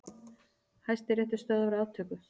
Hæstiréttur stöðvar aftöku